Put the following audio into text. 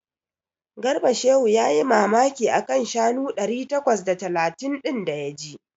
Garba Shehu yayi mamaki a kan shanu ɗari takwas da talatin ɗin da ya ji.